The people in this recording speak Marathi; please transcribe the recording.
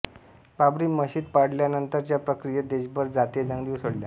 बाबरी मशीद पाडल्यानंतरच्या प्रतिक्रियेत देशभर जातीय दंगली उसळल्या